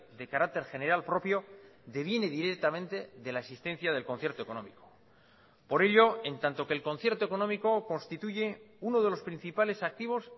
de carácter general propio deviene directamente de la existencia del concierto económico por ello en tanto que el concierto económico constituye uno de los principales activos